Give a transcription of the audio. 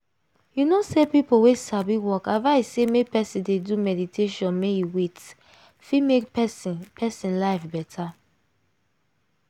you know say people wey sabi work advice say make person dey do meditation make e wait! fit make person person life better.